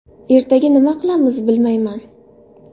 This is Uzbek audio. Ertaga nima qilamiz, bilmayman.